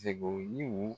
Segu yiriw